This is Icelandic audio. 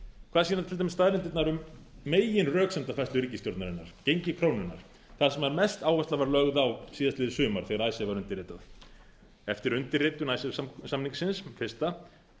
hvað sýna til dæmis staðreyndirnar um meginröksemdafærslu ríkisstjórnarinnar gengi krónunnar þar sem mest áhersla var lögð á síðastliðið sumar þegar icesave var undirritað eftir undirritun icesave samningsins fyrsta